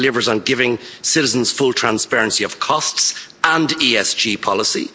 It delivers on giving citizens full transparency of costs and ESG policy.